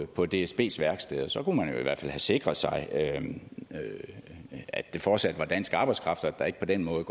på dsbs værksteder så kunne man i hvert fald have sikret sig at det fortsat var dansk arbejdskraft og der ikke på den måde